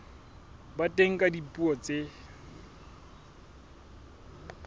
ba teng ka dipuo tse